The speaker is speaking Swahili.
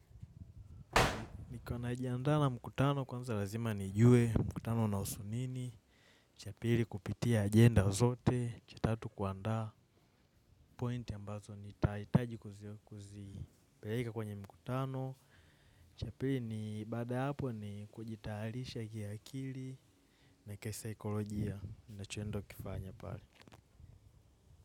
Iko najiandana mkutano kwanza lazima nijue mkutano unahusu nini. Cha pili kupitia agenda zote. Cha tatu kuandaa pointi ambazo nitaitaji kuzipeleka kwenye mkutano. Cha pili ni baada ya hapo ni kujitayarisha kiakili na kisaikolojia unacho endo kifanya pale.